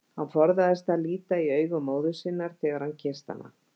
Hann forðaðist að líta í augu móður sinnar þegar hann kyssti hana.